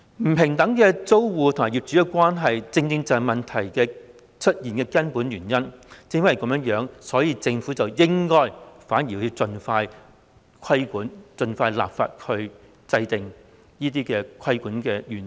租客與業主的不平等關係正正是出現問題的根本原因，正因如此，政府反而應盡快進行規管，盡快立法制訂規管的原則。